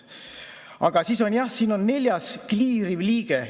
Aga siis on jah, neljas: kliiriv liige.